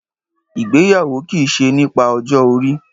Ìgbéyàwó ki ṣe nípa ọjọ́ orí